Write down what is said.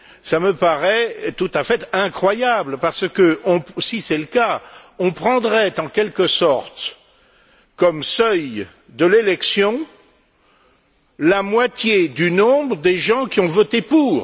Cela me paraît tout à fait incroyable parce que, si c'est le cas, on prendrait en quelque sorte comme seuil de l'élection la moitié du nombre des gens qui ont voté pour.